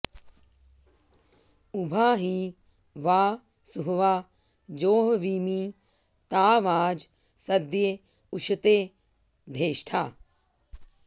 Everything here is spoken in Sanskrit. उ॒भा हि वां॑ सु॒हवा॒ जोह॑वीमि॒ ता वाजं॑ स॒द्य उ॑श॒ते धेष्ठा॑